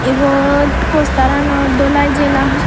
ibot poster anot dholai jila hospital.